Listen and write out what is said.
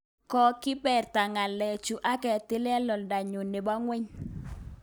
Kogiberta kelyekchuuk aketila oldanyu nebo kwony